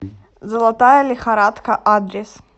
золотая лихорадка адрес